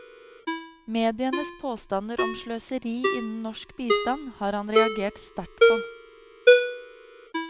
Medienes påstander om sløseri innen norsk bistand har han reagert sterkt på.